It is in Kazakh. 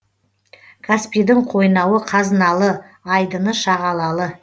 каспийдің қойнауы қазыналы айдыны шағалалы